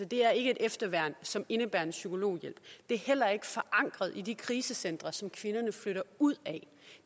det er ikke et efterværn som indebærer en psykologhjælp det er heller ikke forankret i de krisecentre som kvinderne flytter ud af